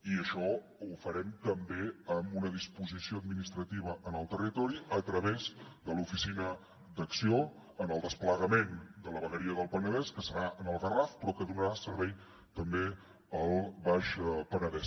i això ho farem també amb una disposició administrativa en el territori a través de l’oficina d’acció en el desplegament de la vegueria del penedès que serà en el garraf però que donarà servei també al baix penedès